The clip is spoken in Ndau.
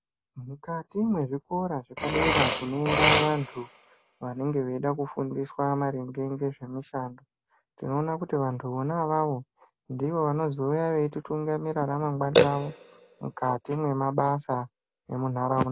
Mukati mwezvikora zvepadera kunoenda vantu vanenge veida kufundiswa maringe ngezvemishando tinoona kuti vantu vona avavo ndivo vanozouya veititungamira ramangwani ravo mukati mwemabasa nemunharaunda.